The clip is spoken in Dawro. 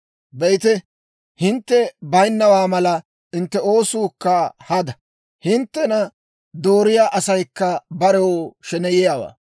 Be'ite, hintte baynnawaa mala; hintte oosuukka hada. Hinttena dooriyaa asaykka barew sheneyiyaawaa.